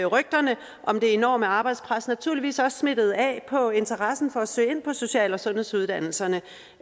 rygterne om det enorme arbejdspres naturligvis også smittet af på interessen for at søge ind på social og sundhedsuddannelserne